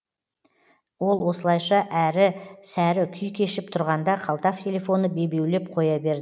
ол осылайша әрі сәрі күй кешіп тұрғанда қалта телефоны бебеулеп қоя берді